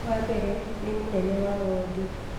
wa mbere nĩ mũnene wa wondi